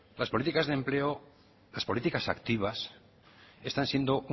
las políticas de empleo las políticas activas están siendo